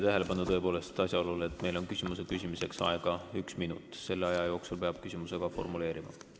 Juhin teie tähelepanu asjaolule, et küsimiseks on aega üks minut, selle aja jooksul peab küsimuse formuleerima.